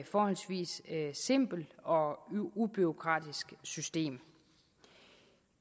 forholdsvis simpelt og ubureaukratisk system